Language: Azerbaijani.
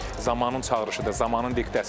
Bu zamanın çağırışıdır, zamanın diktəsidir.